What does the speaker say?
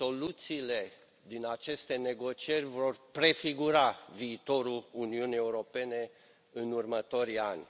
Soluțiile din aceste negocieri vor prefigura viitorul Uniunii Europene în următorii ani.